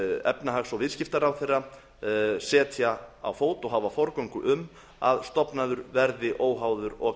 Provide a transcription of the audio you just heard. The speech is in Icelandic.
efnahags og viðskiptaráðherra setja á fót og hafa forgöngu um að stofnaður verði óháður og